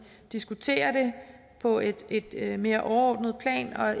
diskuterer det på et et lidt mere overordnet plan